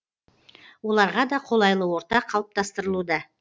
оларға да қолайлы орта қалыптастырылуда